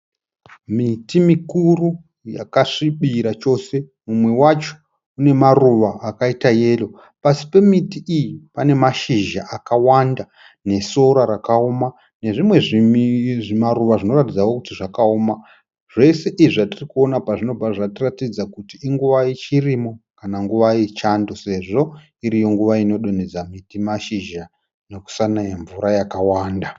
Miti mikuru yakasvibira chose, mumwe wacho une maruva akaita yero. Pasi pemiti iyi pane mashizha akawanda nesora rakaoma nezvimwe zvimaruva zvinoratidzawo kuti zvakaoma. Zvese izvi zvatiri kuona apa zvinobva zvatiratidza kuti inguva yechirimo kana nguva yechando sezvo iriyo nguva inodonhedza miti mashizha nokusanaya mvura yakawanda.